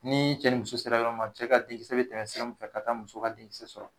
Ni cɛ ni muso sera ɲɔgɔn ma cɛ ka denkisɛ be tɛmɛ sira fɛ ka taa muso ka denkisɛ so kɔnɔ